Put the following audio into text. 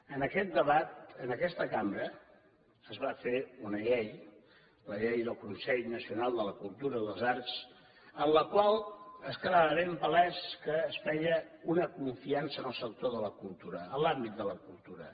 en aquest debat en aquesta cambra es va fer una llei la llei del consell nacional de la cultura i de les arts en la qual quedava ben palès que es feia una confiança en el sector de la cultura en l’àmbit de la cultura